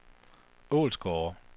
Ålsgårde